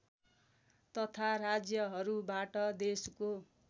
तथा राज्यहरूबाट देशको